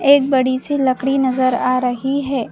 एक बड़ी सी लकड़ी नजर आ रही है।